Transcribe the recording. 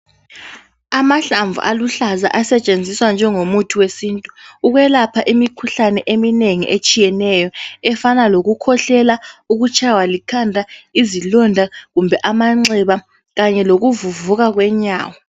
Amahlamvu aluhlaza asetshenziswa njengomuthi wesintu, ukwelapha imikhuhlane eminengi etshiyeneyo, efana lokukhwehlela, ukutshaywa likhanda, izilonda kumbe amanxeba kanye lokuvuvuka kwenyawo.